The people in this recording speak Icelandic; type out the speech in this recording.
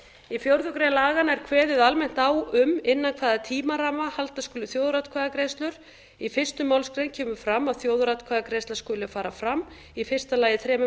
í fjórða grein laganna er kveðið almennt á um innan hvaða tímaramma halda skuli þjóðaratkvæðagreiðslur í fyrstu málsgrein kemur fram að þjóðaratkvæðagreiðsla skuli fara fram í fyrsta lagi þremur